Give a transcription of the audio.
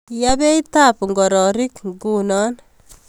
Yaa beitab ngororik nguno